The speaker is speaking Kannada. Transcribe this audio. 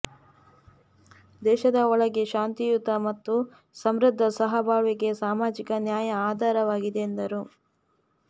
ದೇಶದ ಒಳಗೆ ಶಾಂತಿಯುತ ಮತ್ತು ಸಮೃದ್ಧ ಸಹಬಾಳ್ವೆಗೆ ಸಾಮಾಜಿಕ ನ್ಯಾಯ ಆಧಾರವಾಗಿದೆ ಎಂದರು